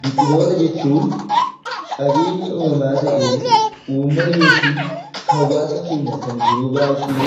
Biqiloota jechuun qabeenya uumamaa ta'ee, uummata yookaan hawaasa keenya yeroo baayyee